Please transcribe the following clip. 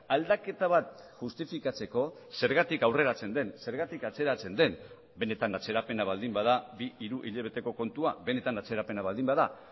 aldaketa bat justifikatzeko zergatik aurreratzen den zergatik atzeratzen den benetan atzerapena baldin bada bi hiru hilabeteko kontua benetan atzerapena baldin bada